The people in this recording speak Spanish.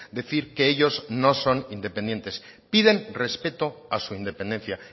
decir que ellos no son independientes piden respeto a su independencia